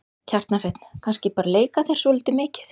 Kjartan Hreinn: Kannski bara leika þér svolítið mikið?